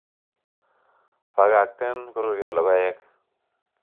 Bakak'ten koruyo logo'ek